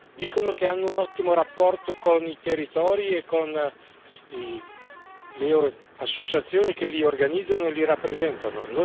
Dicono che hanno un ottimo rapporto con i territori e con le associazioni che li organizzano e li rappresentano.